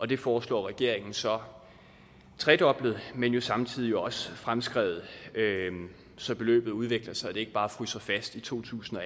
det foreslår regeringen så tredoblet men jo samtidig også fremskrevet så beløbet udvikler sig og ikke bare fryser fast i to tusind og